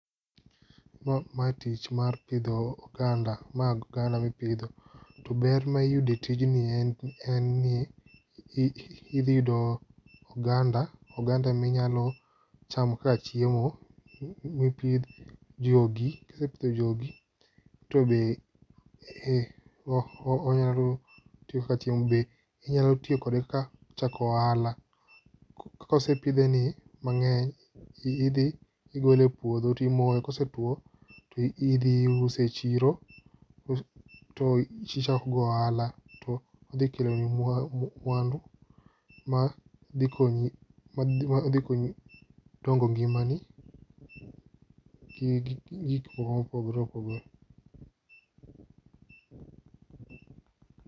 Ma mae tich mar pidho oganda magi oganda mipidho, to ber maiyude tijni en en ni idhi yudo oganda oganda minyalo chamo kaka chiemo mipidh jogi .Kisepidho jogi to be onyalo tiyo kaka chiemo be inyalo tiyo kode kaka chako ohala .Kosepidhe ni mang'eny indhi igole puodho timoye kosetwo to idhi use e chiro to tichako go ohala to odhi kelo ni mwa mwandu ma dhi konyi odhi konyi dongo ngima ni gi gik mopogre opogore.